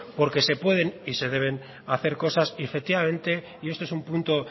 porque se pueden y se deben hacer cosas y efectivamente y esto es un punto